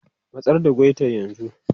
Matsar da guitar yanzu!